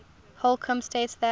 holcombe states that